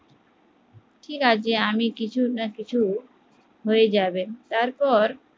ঠিক আছে আমি কিছু না কিছু হয়ে যাবে তারপর